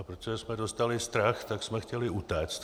A protože jsme dostali strach, tak jsme chtěli utéct.